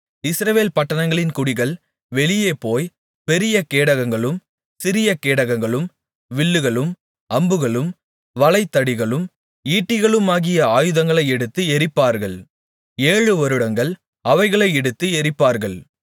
இஸ்ரவேல் பட்டணங்களின் குடிகள் வெளியேபோய் பெரிய கேடகங்களும் சிறியகேடகங்களும் வில்லுகளும் அம்புகளும் வளைதடிகளும் ஈட்டிகளுமாகிய ஆயதங்களை எடுத்து எரிப்பார்கள் ஏழு வருடம் அவைகளை எடுத்து எரிப்பார்கள்